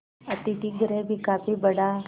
अतिथिगृह भी काफी बड़ा